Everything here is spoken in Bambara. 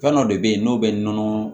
Fɛn dɔ de bɛ yen n'o bɛ nɔnɔ